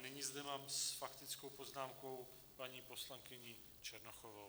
Nyní zde mám s faktickou poznámkou paní poslankyni Černochovou.